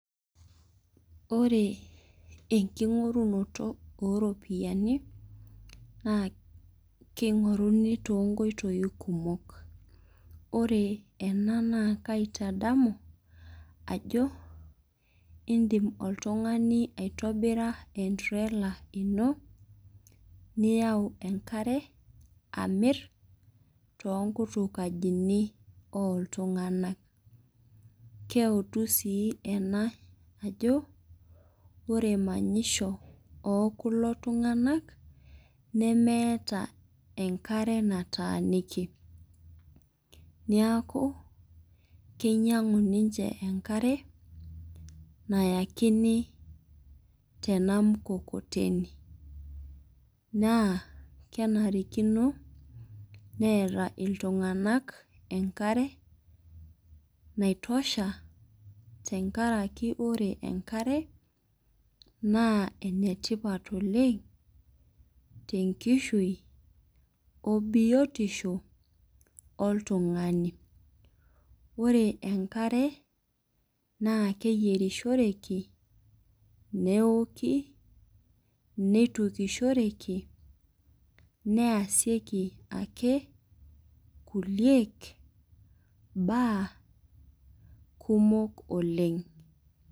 Ore enking'orunoto oo ropiani naa keing'oruni too nkoitoi kumok. Ore ena naa kaitadamu ajo idim oltung'ani aitobira entrela ino niyau enkare amir toonkukajini oo iltung'ana. Keutu sii ena ajo ore manyisho oo kulo tung'ana nemeeta enkare nataaniki niaku keingang'u ninche enkare nayakini tena mkokotone. Kenarikino neeta iltung'ana enkare naitosha tenkaraki ore enkare naa enetipat oleng' te nkishui oo biotisho oo ltung'ani. Ore enkare naa keyiorishoreki neoki netukishoreki neyasieki ake kuliek baa kumok oleng'.